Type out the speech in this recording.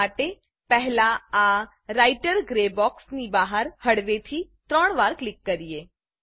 આ માટે પહેલા આ રાઇટર ગ્રે બોક્સ ની બહાર હળવેથી ત્રણ વાર ક્લિક કરીએ